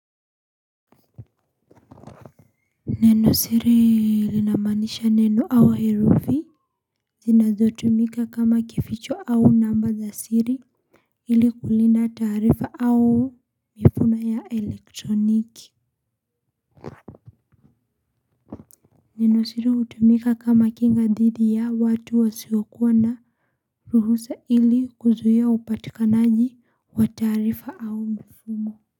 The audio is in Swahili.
Neno siri linamaanisha neno au herufi zinazotumika kama kificho au namba za siri ili kulinda taarifa au mifumo ya elektroniki. Neno siri kutumika kama kinga dhidi ya watu wasiokuwa na ruhusa ili kuzuia upatikanaji wa taarifa au mfumo.